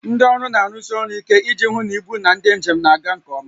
Ndị ọrụ na-arụsi ọrụ ike iji hụ na ibu na ndị njem na-aga nke ọma